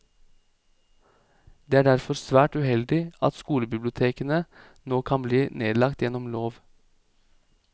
Det er derfor svært uheldig at skolebibliotekene nå kan bli nedlagt gjennom lov.